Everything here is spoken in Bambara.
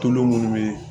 Tulu munnu bɛ